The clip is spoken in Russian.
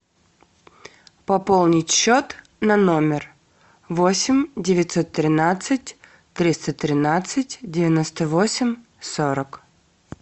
пополнить счет на номер восемь девятьсот тринадцать триста тринадцать девяносто восемь сорок